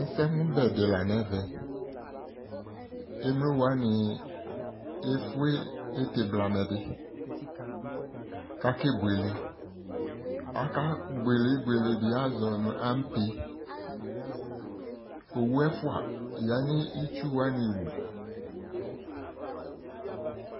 Ɛsɛmʋbɛ dɩ la n'ɛvɛ, emlowanɩ efue nʋ ɩtɩ bilamɛ dɩ k'akebuele Akebuele ibuele dɩ àzɔ nʋ ampe Owu ɛfua ya nʋ itsu wanɩ wu